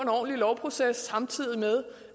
ordentlig lovproces samtidig med